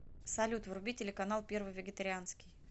салют вруби телеканал первый вегетарианский